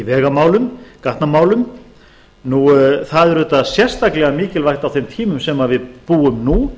vegamálum gatnamálum það er auðvitað sérstaklega mikilvægt á þeim tímum sem við búum nú